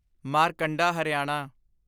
Markanda Haryana